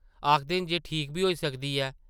आखदे न जे ठीक बी होई सकदी ऐ ।